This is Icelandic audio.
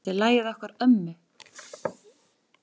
Þetta er lagið okkar ömmu.